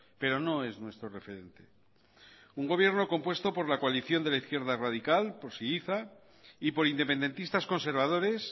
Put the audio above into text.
pero no es nuestro referente un gobierno compuesto por la coalición de la izquierda radical por syriza y por independentistas conservadores